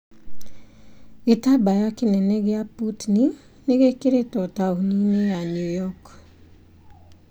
Gĩtambaya kĩnene gĩa Putin nĩgĩkĩrĩtwo tauni-inĩ ya Newyork.